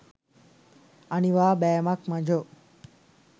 අනිවා බෑමක් මචෝ